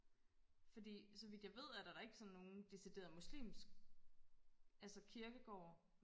fordi så vidt jeg ved er der da ikke sådan nogle decideret muslimsk altså kirkegård